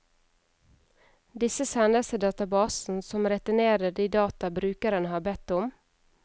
Disse sendes til databasen, som returnerer de data brukeren har bedt om.